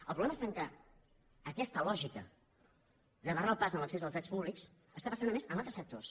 el problema està que aquesta lògica de barrar el pas a l’accés dels drets públics està passant a més en altres sectors